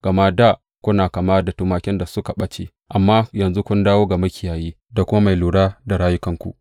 Gama dā kuna kama da tumakin da suka ɓace, amma yanzu kun dawo ga Makiyayi da kuma Mai lura da rayukanku.